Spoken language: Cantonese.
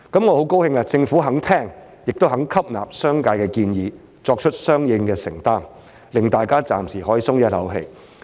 我很高興政府肯聆聽和吸納商界的建議，並作出相應的承擔，令大家暫時可以鬆一口氣。